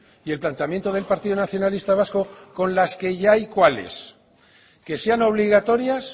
y el planteamiento del partido nacionalista vasco con las que ya hay cuál es que sean obligatorias